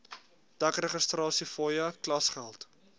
dek registrasiefooie klasgeld